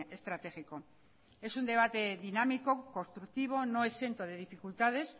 estratégico es un debate dinámico constructivo no exento de dificultades